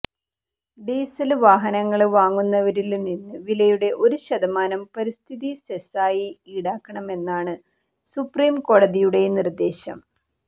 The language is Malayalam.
ഡീസല് വാഹനങ്ങള് വാങ്ങുന്നവരില് നിന്ന് വിലയുടെ ഒരു ശതമാനം പരിസ്ഥിതി സെസായി ഈടാക്കണമെന്നാണ് സുപ്രീം കോടതിയുടെ നിര്ദേശം